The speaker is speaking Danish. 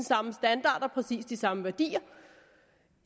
samme standarder og præcis de samme værdier